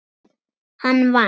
Hann vann.